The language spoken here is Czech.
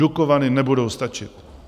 Dukovany nebudou stačit.